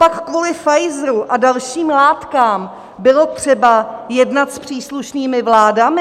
Copak kvůli Pfizeru a dalším látkám bylo třeba jednat s příslušnými vládami?